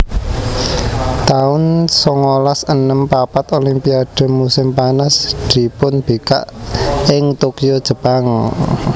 taun songolas enem papat Olimpiade musim panas dipunbikak ing Tokyo Jepang